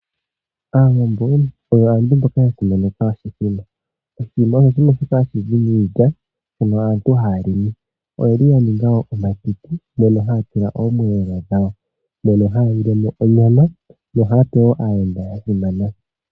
Aawambo oyo aantu mboka ya simaneka oshimbombo. Oshimbombo osho shimwe shoka hashi zi miilyashoka aantu haya limi. Oya ninga omatiti moka haya tula omiyelelo dhawo, mono haya lile mo onyama yo ohaya pe wo aayenda ya simana.